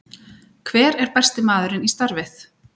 Hver er besti maðurinn í starfið?